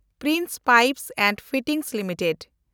Prince Pipes and Fitting limited